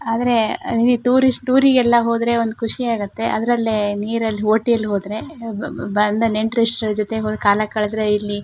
ಆದ್ರೆ ಟೂರಿಸ್ಟ್ ಟೂರಿಗೆಲ್ಲಾ ಹೋದ್ರೆ ಒಂದ ಖುಷಿ ಆಗುತ್ತೆ ಅದ್ರಲ್ಲೇ ನೀರಲ್ಲಿ ಓಟಿಲ್ಲಿ ಹೋದ್ರೆ ಬಬಬ ಬಂದ ನೆಂಟ್ರಿಟ್ರಿಷ್ರ್ ಜೊತೆ ಹೋದ್ರೆ ಕಾಲಕಳೆದ್ರೆ ಇಲ್ಲಿ--